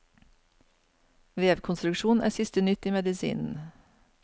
Vevkonstruksjon er siste nytt i medisinen.